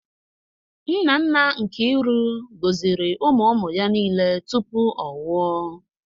Nna nna Nkiru gọziri ụmụ ụmụ ya niile tupu ọ nwụọ.